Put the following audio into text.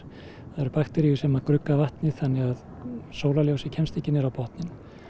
það eru bakteríur sem grugga vatnið þannig að sólarljósið kemst ekki niður á botninn